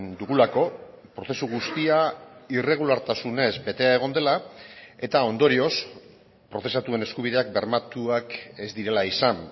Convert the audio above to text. dugulako prozesu guztia irregulartasunez betea egon dela eta ondorioz prozesatuen eskubideak bermatuak ez direla izan